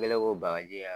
Ne kɛlen ko bakaji